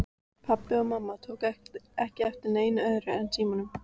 Pabbi og mamma tóku ekki eftir neinu öðru en símanum.